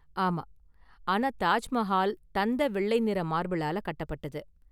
ஆமா, ஆனா தாஜ் மஹால் தந்தவெள்ளை நிற மார்பிளால கட்டப்பட்டது.